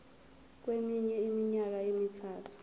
kweminye iminyaka emithathu